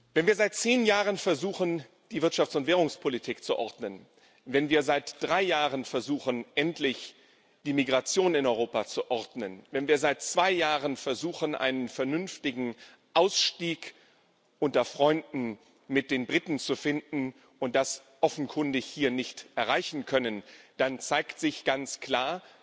Wenn wir seit zehn Jahren versuchen, die Wirtschafts und Währungspolitik zu ordnen, wenn wir seit drei Jahren versuchen, endlich die Migration in Europa zu ordnen, wenn wir seit zwei Jahren versuchen, mit den Briten einen vernünftigen Ausstieg unter Freunden zu finden und das offenkundig hier nicht erreichen können, dann zeigt sich ganz klar,